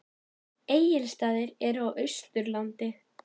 Egilsstaðir eru á Austurlandi.